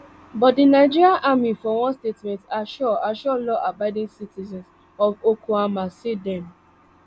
but di nigerian army for one statement assure assure lawabiding citizens of okuama say dem